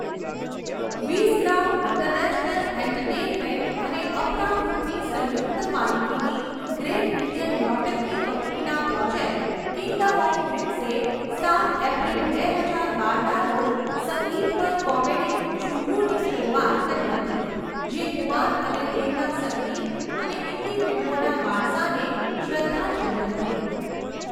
Wizcraft International Entertainment અને અપરા ગ્રૂપની સંયુક્ત માલિકીની ગ્રેટ ઇન્ડિયન નૌટંકી કંપનીના પ્રોજેક્ટ કિંગડમ ઓફ ડ્રીમ્સે સાત એપ્રિલ, બે હજાર બારના રોજ સંગીતમય કોમેડી ઝુમરૂની શરૂઆત કરી હતી જે કુમાર અને તેમના સંગીત અને હિન્દી ફિલ્મોના વારસાને શ્રદ્ધાંજલિ હતી.